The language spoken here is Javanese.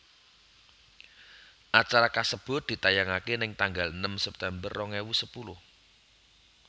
Acara kasebut ditayangaké ning tanggal enem September rong ewu sepuluh